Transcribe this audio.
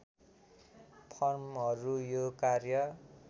फर्महरू यो कार्य